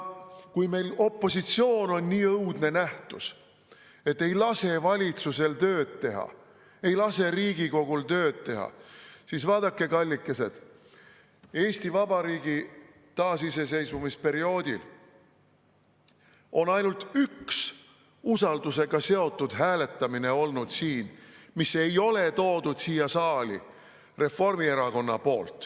Kui opositsioon on meil nii õudne nähtus, et ei lase valitsusel tööd teha, ei lase Riigikogul tööd teha, siis vaadake, kallikesed, pärast Eesti Vabariigi taasiseseisvumist on olnud siin ainult üks usaldusega seotud hääletamine, mida ei toonud siia saali Reformierakond.